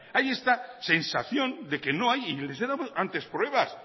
hay esta sensación de que no hay y les he dado antes pruebas